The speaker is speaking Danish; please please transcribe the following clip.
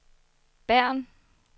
Bern